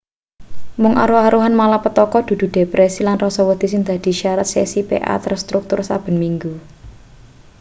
mung aruh-aruhan malapetaka dudu depresi lan rasa wedi sing dadi syarat sesi pa terstruktur saben minggu